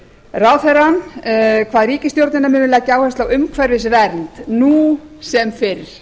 ráðherrann kvað ríkisstjórnina munu leggja áherslu á umhverfisvernd nú sem fyrr